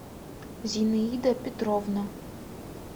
зинаида петровна